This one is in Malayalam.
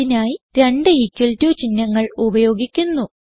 അതിനായി രണ്ട് ഇക്വൽ ടോ ചിഹ്നങ്ങൾ ഉപയോഗിക്കുന്നു